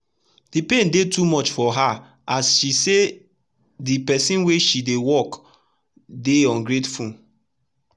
the pain dey too much for heras she say the person wey she dey work dey ungrateful.